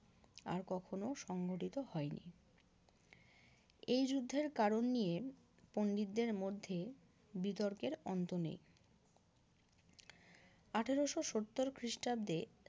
আর কখনো সংঘটিত হয়নি এই যুদ্ধের কারণ নিয়ে পন্ডিতদের মধ্যে বিতর্কের অন্ত নেই আঠারোশো সত্তর খ্রিস্টাব্দে